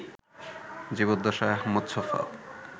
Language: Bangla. জীবদ্দশায় আহমদ ছফা